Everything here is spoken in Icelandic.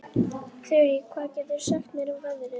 Þurí, hvað geturðu sagt mér um veðrið?